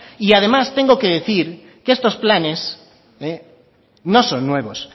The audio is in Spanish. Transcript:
y además tengo que decir que estos planes no son nuevos